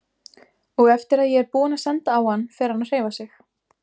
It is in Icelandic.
Og eftir að ég er búinn að senda á hann fer hann að hreyfa sig.